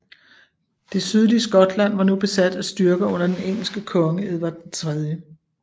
Det sydlige Skotland var nu besat af styrker under den engelske konge Edvard 3